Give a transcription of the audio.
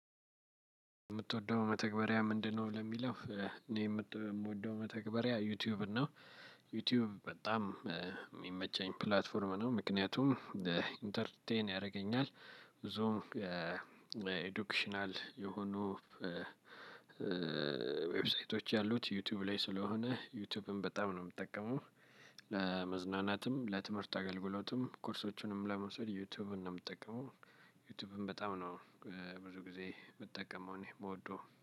የምትወደው መተግበሪያ ምንድነው? ለሚለው እኔ የምወደው መተግበሪያ ዩቲዩብ ነው። ዩቲዩብ በጣም የሚመቸኝ ፕላትፎርም ነው። ምክንያቱም ኢንተርቴይን ያደርገኛል ዞን ኤዱክሽናል የሆኑ። ዌብሳይቶች ያሉት ዩቲዩብ ላይ ስለሆነ ዩቲዩብም በጣም ነው የምጠቀመው። ለመዝናናትም ለትምህርት አገልግሎትም ኮርሶቹንም ለመውሰድ ዩቲዩብን ነው የምጠቀመው። ዩቲዩብም በጣም ነው ብዙ ጊዜ የምጠቀመው እኔ የምወደው